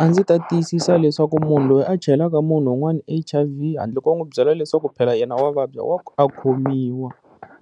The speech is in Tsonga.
A ndzi ta tiyisisa leswaku munhu loyi a chelaka munhu un'wana H_I_V handle ko va n'wi byela leswaku phela yena wa vabya wa a khomiwa